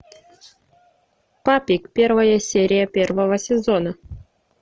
папик первая серия первого сезона